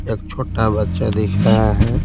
एक छोटा बच्चा दिख रहा है।